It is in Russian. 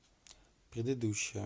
предыдущая